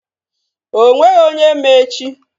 ọ nweghị onye ma echi